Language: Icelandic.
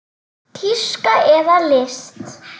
Tíska eða list?